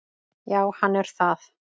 Já, hann er það.